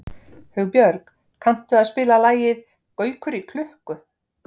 Hugbjörg, kanntu að spila lagið „Gaukur í klukku“?